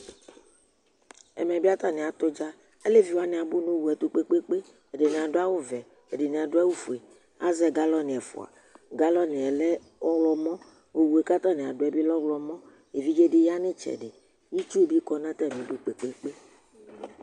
ɛmɛ bi atani atʋ ʋdza, alɛvi wani abʋ nʋ ɔwʋɛ tʋ kpekpekpe, ɛdini adʋ awʋ vɛ, ɛdini adʋ awʋ ƒʋɛ, azɛ galloni ɛƒʋa, galloniɛ lɛ ɔwlɔmɔ, ɔwʋɛ kʋatani adʋɛ bi lɛ ɔwlɔmɔ, ɛvidzɛ di yanʋ itsɛdi, itsʋ bi kɔnʋ atami idʋ kpekpekpe